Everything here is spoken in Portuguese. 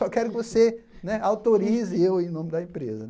Só quero que você né autorize eu em nome da empresa.